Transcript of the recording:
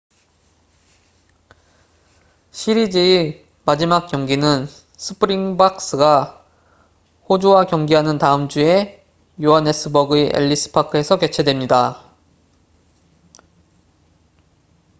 시리즈의 마지막 경기는 스프링박스가 호주와 경기하는 다음 주에 요하네스버그의 엘리스 파크에서 개최됩니다